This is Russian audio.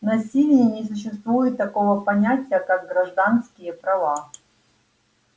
на сивенне не существует такого понятия как гражданские права